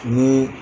Ni